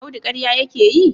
Audu karya yake yi?